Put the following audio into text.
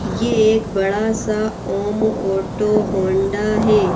ये एक बड़ा सा ओम ओटो होंडा है।